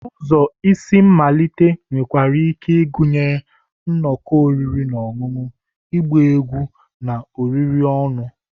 Ụzọ isi mmalite nwekwara ike ịgụnye nnọkọ oriri na ọṅụṅụ, ịgba egwu, na oriri ọnụ.